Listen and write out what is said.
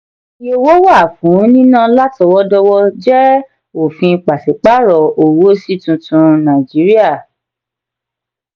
ìyè owó wà fún nínà látọwọ-dọwọ jẹ ofin pasiparo owó sí tuntun nàìjíríà.